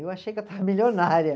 Eu achei que eu estava milionária.